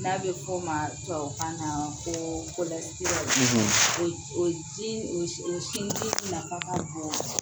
N'a bɛ f'o ma tubabu kan na ko ka na ko kolɔserɔli o ji o sinji nafa ka bon kosɛbɛ